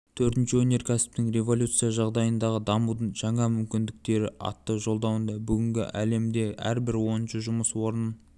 төртінші өнеркәсіптік революция жағдайындағы дамудың жаңа мүмкіндіктері атты жолдауында бүгінгі әлемде әрбір оныншы жұмыс орнын